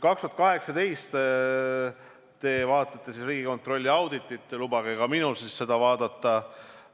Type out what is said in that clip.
Te vaatate Riigikontrolli auditit, lubage ka minul siis seda vaadata.